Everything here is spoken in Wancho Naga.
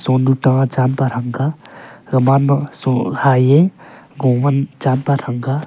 sonu ta champa thanga gaman ma so hye komon champa thanga.